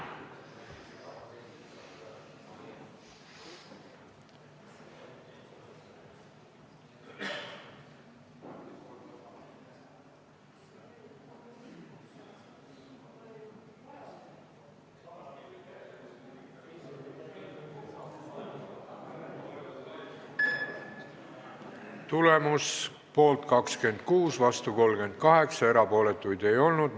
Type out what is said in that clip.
Hääletustulemused Tulemus: poolt 26, vastu 38, erapooletuid ei olnud.